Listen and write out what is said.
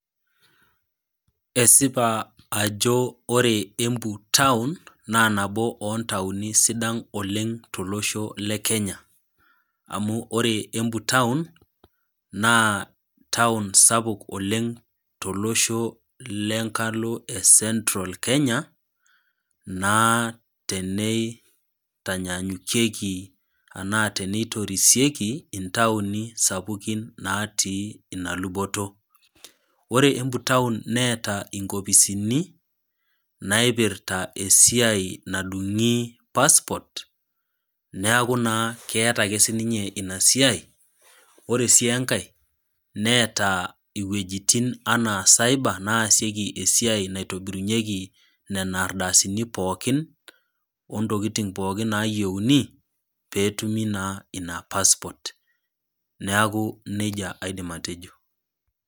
Esipa ajo ore Embu taun naa nabo o ntauni sidan oleng' tolosho le Kenya, amu ore embu taun, naa taun sapuk oleng' tolosho le nkalo e Central Kenya naa teneitanyanyukieki anaa teneitorisieki intauni sapukin natii ina luboto. Ore Embu taun neata inkopisini, naipirta esiai nadung'i passport, neaku naa keata ake sii ninye ina siai, ore sii enkai neata iwuetin anaa cyber naasieki anaa naitobirunyeki nena siaitin pookin, o ntokitin pookin naayieuni, pee etumi naa ina passport, neaku neija aidim atejo.